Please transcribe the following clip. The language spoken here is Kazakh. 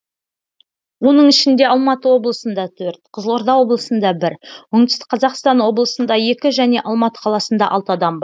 оның ішінде алматы облысында төрт қызылорда облысында бір оңтүстік қазақстан облысында екі және алматы қаласында алты адам